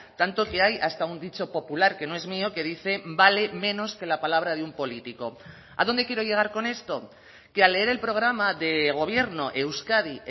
tanto que hay hasta un dicho popular que no es mío que dice vale menos que la palabra de un político a dónde quiero llegar con esto que al leer el programa de gobierno euskadi